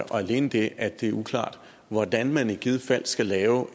alene det at det er uklart hvordan man i givet fald skal lave